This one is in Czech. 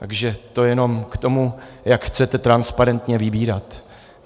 Takže to jenom k tomu, jak chcete transparentně vybírat.